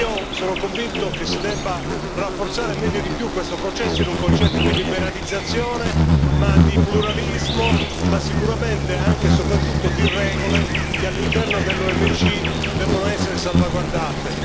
Io sono convinto che si debba rafforzare meglio e di più questo processo in un concetto di liberalizzazione, ma di pluralismo, ma sicuramente, anche e soprattutto, di regole che all'interno dell'OMC devono essere salvaguardate.